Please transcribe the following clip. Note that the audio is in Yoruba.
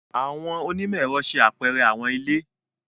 Àwọn onimọ-ẹrọ ṣe apẹrẹ àwọn ile.